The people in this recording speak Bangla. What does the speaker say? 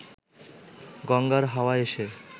গঙ্গার হাওয়া এসে